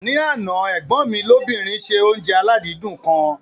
Ní àná, ẹ̀gbọ́n mi lóbìnrin ṣe oúnjẹ aládìídùn kan.